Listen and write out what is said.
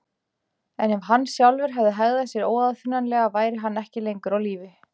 En ef hann sjálfur hefði hegðað sér óaðfinnanlega væri hann ekki lengur á lífi.